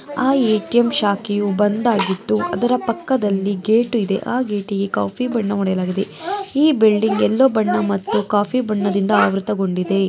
ಆ ಎ.ಟಿ.ಎಂ ಶಾಖೆಯು ಬಂದಾಗಿದ್ದು ಅದರ ಪಕ್ಕದಲ್ಲಿ ಗೇಟಿದೆ ಆ ಗೇಟಿಗೆ ಕಾಫಿ ಬಣ್ಣ ಹೊಡಿಯಲಗಿದೆ ಈ ಬಿಲ್ಡಿಂಗ್ ಎಲ್ಲೋ ಬಣ್ಣ ಮತ್ತು ಕಾಫಿ ಬಣ್ಣದಿಂದ ಆವೃತಗೊಂಡಿದೆ --